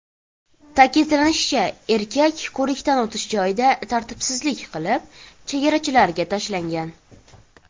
Ta’kidlanishicha, erkak ko‘rikdan o‘tish joyida tartibsizlik qilib, chegarachilarga tashlangan.